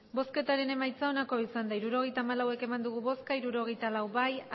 hirurogeita hamalau eman dugu bozka